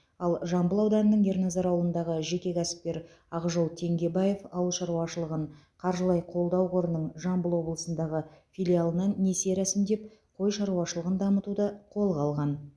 ал жамбыл ауданының ерназар ауылындағы жеке кәсіпкер ақжол теңгебаев ауыл шаруашылығын қаржылай қолдау қорының жамбыл облысындағы филиалынан несие рәсімдеп қой шаруашылығын дамытуды қолға алған